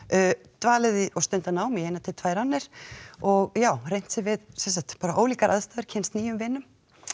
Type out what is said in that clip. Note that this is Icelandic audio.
dvalið og stundað nám í eina til tvær annir og já reynt sig við ólíkar aðstæður kynnst nýjum vinum